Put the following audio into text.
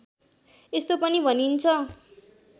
यस्तो पनि भनिन्छ